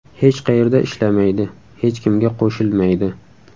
Hech qayerda ishlamaydi, hech kimga qo‘shilmaydi.